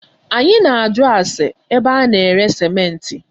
Anyị na ajụ ase ébé a na-ere simenti